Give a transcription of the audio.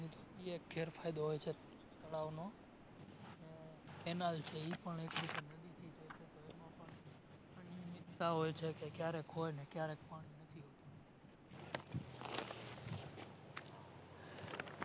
એ એક ગેરફાયદો હોય છે તળાવનો અને Canal છે એ પણ એક રીતે અનિયમિત્તા હોય છે કે ક્યારેક હોય ને ક્યારેક પાણી નથી હોતું